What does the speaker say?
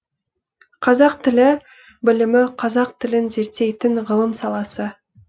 қазақ тілі білімі қазақ тілін зерттейтін ғылым саласы